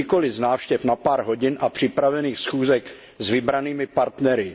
Nikoli z návštěv na pár hodin a připravených schůzek s vybranými partnery.